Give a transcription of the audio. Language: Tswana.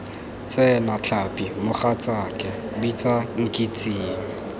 tsena tlhapi mogatsaaka bitsa nkitsing